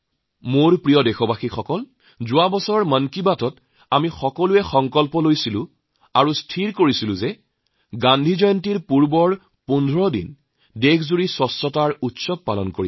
মোৰ প্ৰিয় দেশবাসী যোৱা মাহৰ মন কী বাতত আমি সকলোৱে মিলি এক সংকল্প লৈছিলোম আৰু আমি ঠিক কৰিছিলো যে গান্ধী জয়ন্তীৰ আগৰ ১৫ দিন সমগ্ৰ দেশজুৰি স্বচ্ছতা উৎসৱ পালন কৰিম